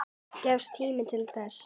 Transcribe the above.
Gefst tími til þess?